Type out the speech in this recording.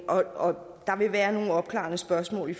og der vil være nogle opklarende spørgsmål